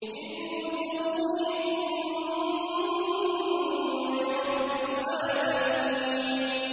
إِذْ نُسَوِّيكُم بِرَبِّ الْعَالَمِينَ